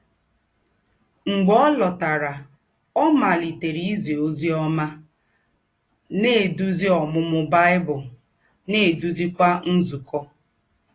Mḡbè ọ̀ lọ̀tàrà, ọ̀ màlítèrè ízì òzì ọ́má, na - èdúzì Ǒmūmū Bible, na - èdúzìkwà nzúkọ̄.